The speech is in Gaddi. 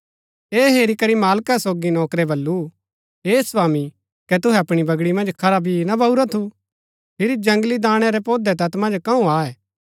ऐह हेरी करी मालका सोगी नौकरै बल्लू हे स्वामी कै तुहै अपणी बगड़ी मन्ज खरा बी ना बाऊरा थु फिरी जंगली दाणै रै पोधै तैत मन्ज कंऊ आये